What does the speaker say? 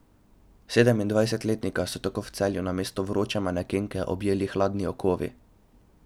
Sedemindvajsetletnika so tako v Celju namesto vroče mladenke objeli hladni okovi.